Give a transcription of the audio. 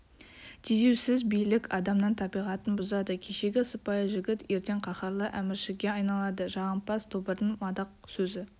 тежеусіз билік адамның табиғатын бұзады кешегі сыпайы жігіт ертең қаһарлы әміршіге айналады жағымпаз тобырдың мадақ сөзі